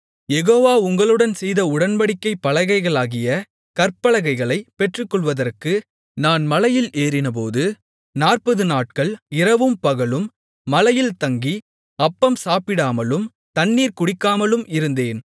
யெகோவா உங்களுடன்செய்த உடன்படிக்கைப் பலகைகளாகிய கற்பலகைகளைப் பெற்றுக்கொள்வதற்கு நான் மலையில் ஏறினபோது நாற்பதுநாட்கள் இரவும் பகலும் மலையில் தங்கி அப்பம் சாப்பிடாமலும் தண்ணீர் குடிக்காமலும் இருந்தேன்